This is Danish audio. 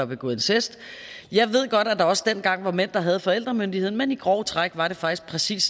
begået incest og jeg ved godt at der også dengang var mænd der havde forældremyndigheden men i grove træk var det faktisk præcis